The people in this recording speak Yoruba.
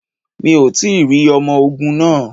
Mi ò tí rí ọmọ ogun náà.